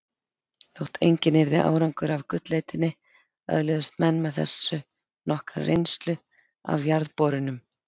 Þótt enginn yrði árangur af gullleitinni öðluðust menn með þessu nokkra reynslu af jarðborunum.